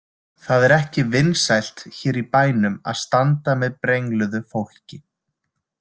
Það er ekki vinsælt hér í bænum að standa með brengluðu fólki.